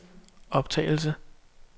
optagelse